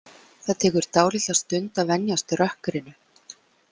Það tekur dálitla stund að venjast rökkrinu.